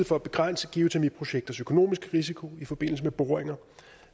for at begrænse geotermiprojekters økonomiske risiko i forbindelse med boringer